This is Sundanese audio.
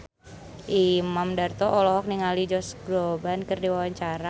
Imam Darto olohok ningali Josh Groban keur diwawancara